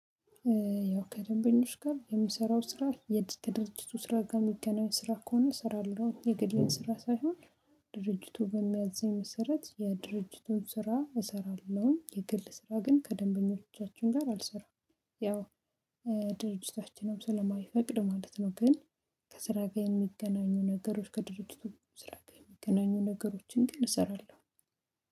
ያው ከደንበኞች ጋር የምሰራው ስራ ከድርጅቱ ስራ ጋር የሚገናኝ ስራ ከሆነ ስራለው የግሌን ስራ ሳይሆን ድርጅቱ በሚያዝኝ መሰረት የድርጅቱን ስራ እሰራለሁኝ የግል ስራ ግን ከደንበኞቻችን ጋር አልሰራም። ያው ድርጅታችንም ስለማይፈቅድ ማለት ነው። ግን ከስራ ጋር የሚገናኙ ነገሮች ከድርጅቱ ስራ ጋር የሚገናኙ ነገሮችን ግን እሰራለሁ።